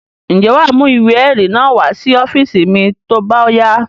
Ǹjẹ́ wà á mú ìwé-ẹ̀rí náà wá sí ọ́fíísì mi tó bá yá?